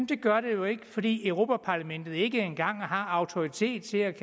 det gør det jo ikke fordi europa parlamentet ikke engang har autoritet til at